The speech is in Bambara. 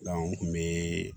n kun be